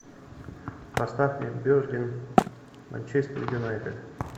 поставь мне бернли манчестер юнайтед